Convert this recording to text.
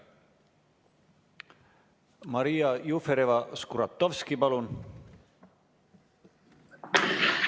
Maria Jufereva-Skuratovski, palun!